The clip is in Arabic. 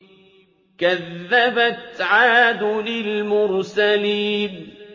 كَذَّبَتْ عَادٌ الْمُرْسَلِينَ